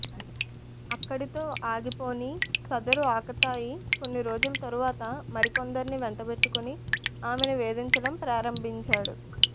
అక్కడితో ఆగిపోని సదరు ఆకతాయి కొన్నిరోజుల తర్వాత మరికొందరిని వెంటబెట్టుకుని ఆమెను వేధించడం ప్రారంభించాడు